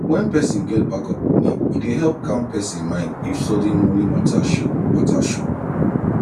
when person get backup money e dey help calm person mind if sudden money matter show matter show